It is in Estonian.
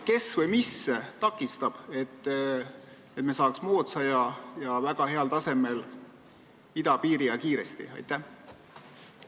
Kes või mis takistab moodsat ja väga heal tasemel idapiiri kiiresti valmis ehitada?